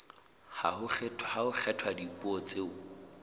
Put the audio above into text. ha ho kgethwa dipuo tseo